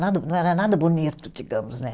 Não era nada bonito, digamos, né?